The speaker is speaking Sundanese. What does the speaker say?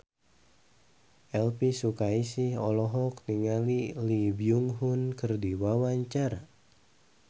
Elvy Sukaesih olohok ningali Lee Byung Hun keur diwawancara